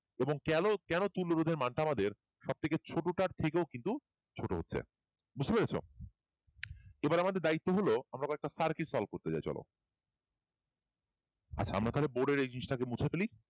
এবং কেন কেন তুল্য রোধের মানটা আমাদের সব থেকে ছোটটার থেকেও কিন্তু ছোট হচ্ছে বুঝতে পেরেছ এবার আমাদের দায়িত্ব হল এবার আমরা একটা circuit solve করতে যায় চলো তাহলে আমরা বোর্ডের register কে মুছে ফেলি